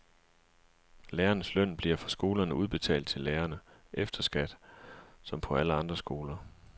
Lærernes løn bliver fra skolerne udbetalt til lærerne, efter skat, som på alle andre skoler.